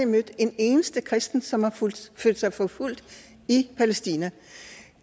mødt en eneste kristen som har følt sig forfulgt i palæstina